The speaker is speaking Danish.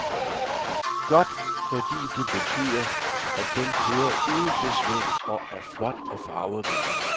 Godt, fordi det betyder, at den kører uden besvær og er flot og farverig.